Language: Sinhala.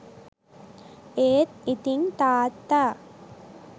ඒත් ඉතිං තාත්තා